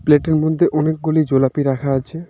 পেল্টের মধ্যে অনেকগুলি জোলাপি রাখা আছে.